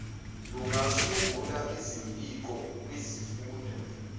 lungasungula izimpiko kwizifunda